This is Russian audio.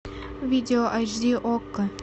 видео айч ди окко